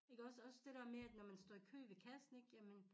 Iggås også det dér med at når man står i kø ved kassen ikke jamen